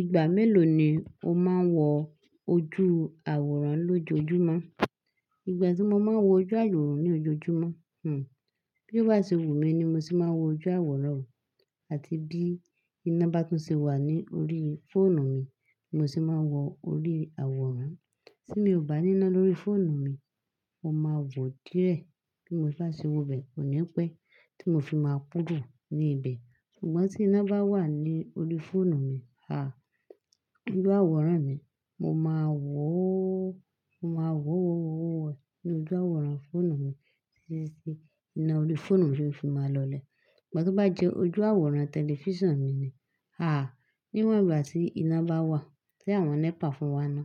Ìgbà mélòó ni o máa ń wo ojú àwòrán lójoojúmọ́? Ìgbà tí mo máa ń wo ojú àwòrán ní ojoojúmọ́, hm, bí wá sí wù mí ni mo ṣe máa ń wo ojú àwòrán àti bí iná bá tún ṣe wà ní orí fóònù mi ni mo ṣe máa ń wo orí àwòrán. Tí mi ò bá ní iná lórí fóònù mi, mo máa wò ó díẹ̀ bí mo bá ṣe wọ bẹ, kò ní pẹ́ tí mo fi máa kúrò ní ibẹ̀. Ṣùgbọ́n tí iná bá wà ní orí fóònù mi, à, ojú àwòrán mi, mo máa wò ó, mo máa wò ó ní ojú àwòrán fóònù mi títí tí iná orí fóònù mi fi máa lọlẹ̀. Ṣùgbọ́n tí ó bá jẹ́ ojú àwòrán tẹlifíṣàn mi ni, à, níwọ̀n ìgbà tí iná bá wà, tí àwọn NEPA fún wa iná,